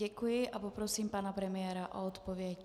Děkuji a poprosím pana premiéra o odpověď.